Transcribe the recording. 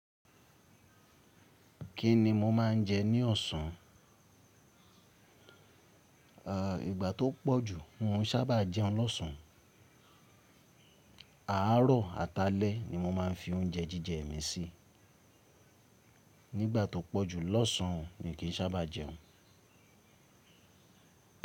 Kí ni mo máà ń jẹ ní ọ̀sán? Ìgbà tó pọ̀ jù n o sábà jẹun lọ́ṣán. Àárọ̀ àtàlẹ́ ni mo máa ń fi oúnjẹ jíjẹ mi sí. Nígbà tó pọ̀ jù lọ́ṣán mi kí n sábà jẹun.